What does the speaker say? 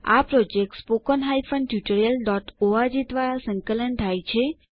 આ project httpspoken tutorialorg દ્વારા સંકલન થાય છે